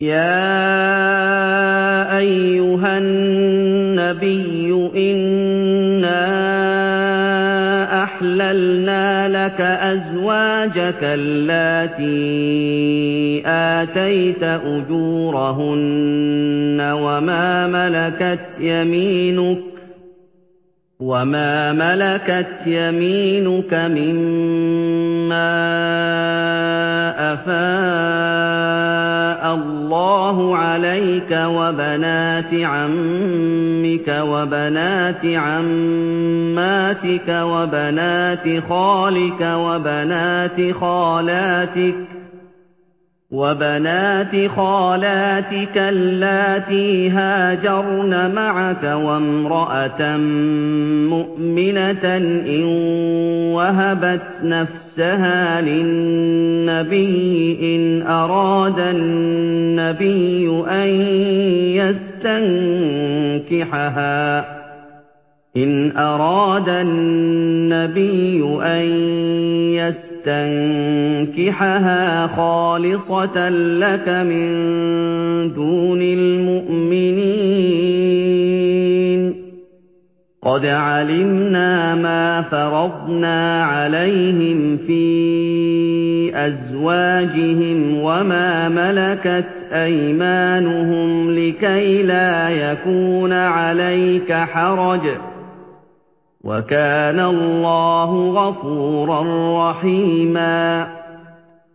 يَا أَيُّهَا النَّبِيُّ إِنَّا أَحْلَلْنَا لَكَ أَزْوَاجَكَ اللَّاتِي آتَيْتَ أُجُورَهُنَّ وَمَا مَلَكَتْ يَمِينُكَ مِمَّا أَفَاءَ اللَّهُ عَلَيْكَ وَبَنَاتِ عَمِّكَ وَبَنَاتِ عَمَّاتِكَ وَبَنَاتِ خَالِكَ وَبَنَاتِ خَالَاتِكَ اللَّاتِي هَاجَرْنَ مَعَكَ وَامْرَأَةً مُّؤْمِنَةً إِن وَهَبَتْ نَفْسَهَا لِلنَّبِيِّ إِنْ أَرَادَ النَّبِيُّ أَن يَسْتَنكِحَهَا خَالِصَةً لَّكَ مِن دُونِ الْمُؤْمِنِينَ ۗ قَدْ عَلِمْنَا مَا فَرَضْنَا عَلَيْهِمْ فِي أَزْوَاجِهِمْ وَمَا مَلَكَتْ أَيْمَانُهُمْ لِكَيْلَا يَكُونَ عَلَيْكَ حَرَجٌ ۗ وَكَانَ اللَّهُ غَفُورًا رَّحِيمًا